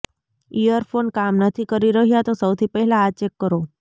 earphone કામ નથી કરી રહ્યા તો સૌથી પહેલા આ ચેક કરો